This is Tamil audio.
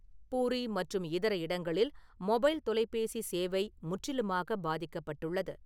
பூரி மற்றும் இதர இடங்களில் மொபைல் தொலைபேசி சேவை முற்றிலுமாகப் பாதிக்கப்பட்டுள்ளது.